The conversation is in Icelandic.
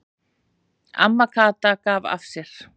Amma Kata gaf af sér.